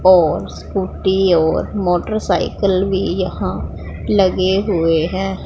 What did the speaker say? और स्कूटी और मोटरसाइकल भी यहां लगे हुए हैं।